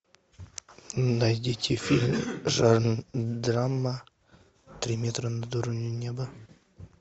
найдите фильм жанр драма три метра над уровнем неба